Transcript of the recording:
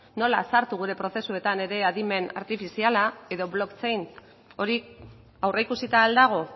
nola sartu gure prozesuetan ere adimen artifiziala edo blockchain hori aurreikusita al dago